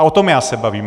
A o tom já se bavím.